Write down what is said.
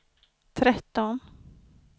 tretton